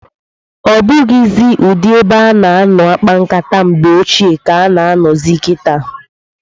Ọbụghịzị ụdị ebe a na-anọkọ akpa nkata mgbe ochie ka a na anọzị kịta.